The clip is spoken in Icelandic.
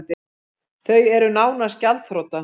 Þau eru nánast gjaldþrota